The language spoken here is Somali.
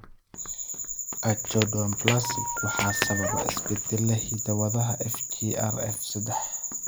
Achondroplasia waxaa sababa isbeddellada hidda-wadaha FGFR sedaax.